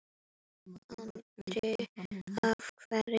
Andri: Af hverju?